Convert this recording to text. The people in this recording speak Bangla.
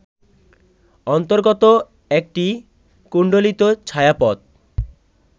অন্তর্গত একটি কুণ্ডলিত ছায়াপথ